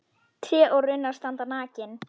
Tré og runnar standa nakin.